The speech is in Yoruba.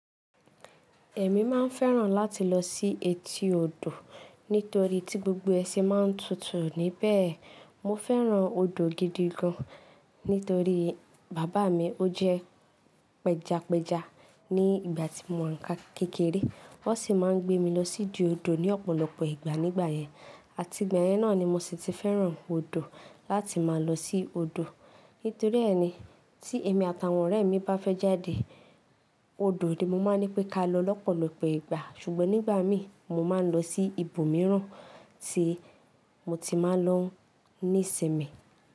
Ẹ̀mí mà ń fẹ́ran láti lọ sí etí odò nítorí tí gbogbo ẹ ṣe má ń tutù níbẹ̀. Mo fẹ́ran odò gidi gan nítorí bàbà mi ó jẹ́ pẹjapẹja ní ìgbà tí mo ń wà a kékeré. Ó sì má ń gbé mi lọ sí ìdí odò ní ọ̀pọ̀lọpọ̀ nìgbà nígbàyẹn. Àti ìgbà yẹn náà ni mo sì ti fẹ́ran odò láti má lọ sí odò. Nítorí ẹni tí èmi àtàwọn ọ̀rẹ́ mi bá fẹ́ jáde, odò ni mo má ń ní pé ká lọ lọ́pọ̀lọpọ̀ ìgbà. Ṣùgbọ́n nígbà mi mo má ń lọ sí ibòmíràn tí mo ti máa ń lọ ní ìsinmi.